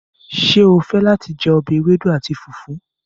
Ṣé ó fẹ́ láti jẹ ọbẹ̀ ewédú àti fùfú?